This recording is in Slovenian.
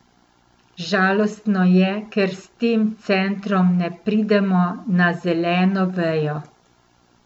Žalostno je, ker s tem centrom ne pridemo na zeleno vejo.